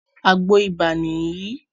Àgbo ibà nìyí